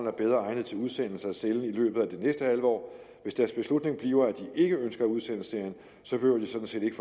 er bedre egnet til udsendelse af cellen i løbet af det næste halve år hvis deres beslutning bliver at de ikke ønsker at udsende serien så behøver de sådan set ikke